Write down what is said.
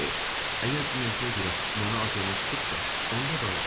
Əgər dünənkinə görə mənə acığınız tutubsa, onda bağışlayın.